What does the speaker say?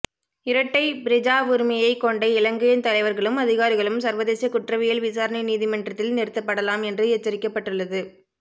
இரட்டை பிரஜாவுரிமையை கொண்ட இலங்கையின் தலைவர்களும் அதிகாரிகளும் சர்வதேச குற்றவியல் விசாரணை நீதிமன்றத்தில் நிறுத்தப்படலாம் என்று எச்சரிக்கப்பட்டுள்ளது